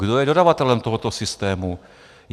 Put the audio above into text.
Kdo je dodavatelem tohoto systému?